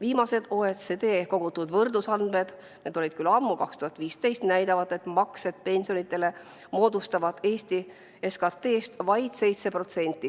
Viimased OECD kogutud võrdlusandmed – need olid küll ammu, 2015 – näitavad, et maksed pensionidele moodustavad Eesti SKT-st vaid 7%.